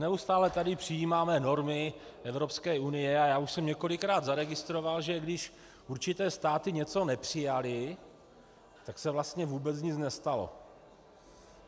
Neustále tady přijímáme normy Evropské unie a já už jsem několikrát zaregistroval, že když určité státy něco nepřijaly, tak se vlastně vůbec nic nestalo.